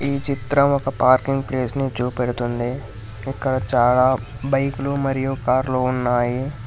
ఈ చిత్రం ఒక పార్కింగ్ ప్లేస్ ని చూపెడుతుంది ఇక్కడ చాలా బైకులు మరియు కార్లు ఉన్నాయి.